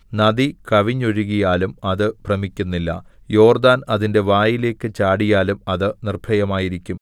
നദി കവിഞ്ഞൊഴുകിയാലും അത് ഭ്രമിക്കുന്നില്ല യോർദ്ദാൻ അതിന്റെ വായിലേക്ക് ചാടിയാലും അത് നിർഭയമായിരിക്കും